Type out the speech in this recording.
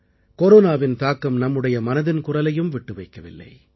கொரோனாவின் தாக்கம் நம்முடைய மனதின் குரலையும் விட்டு வைக்கவில்லை